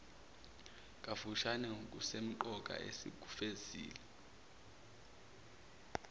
kafushane ngokusemqoka esikufezile